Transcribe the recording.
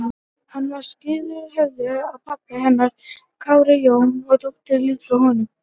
Hann var skírður í höfuðið á pabba hennar, Kári Jón, og þótti líkur honum.